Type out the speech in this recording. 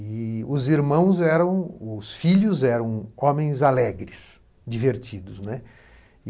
E os irmãos eram, os filhos eram homens alegres, divertidos, né.